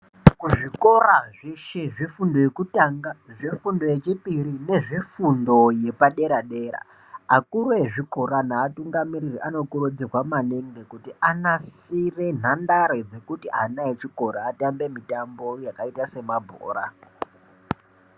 Kuzvikora zveshe zvefundo yekutanga, zvefundo yechipiri nezvefundo yepadera dera, akuru ezvikora neatungamiriri anokurudzirwa maningi kuti anasire nhandare dzekuti ana echikora atambe mutambo yakaita semabhora.